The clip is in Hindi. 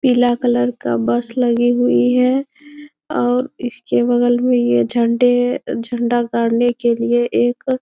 पीला कलर का बस लगी हुई है और इसके बगल में यह झंडे झंडा गाड़ने के लिए एक --